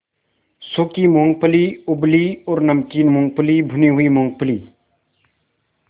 सूखी मूँगफली उबली और नमकीन मूँगफली भुनी हुई मूँगफली